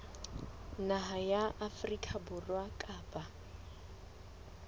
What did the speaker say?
naha ya afrika borwa kapa